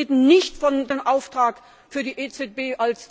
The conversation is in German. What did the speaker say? Sie reden nicht von dem Auftrag für die EZB, als